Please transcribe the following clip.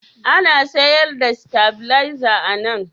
Ana sayar da sitabileza a nan?